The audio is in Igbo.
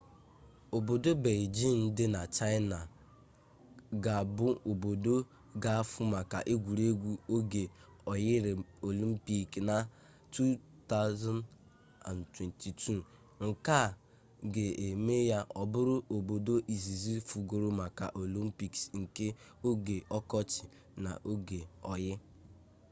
obodo beijing di na china ga bu obodo ga afu maka egwuregwu oge oyi olympic na 2022 nke a ga-eme ya o buru obodo izizi fugoro maka olympics nke oge okochi na nke oge oyi